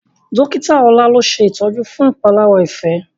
Dọ́kítà ola ló ṣe itọjú fún ìpalára Ife.